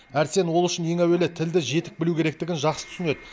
әрсен ол үшін ең әуелі тілді жетік білу керектігін жақсы түсінеді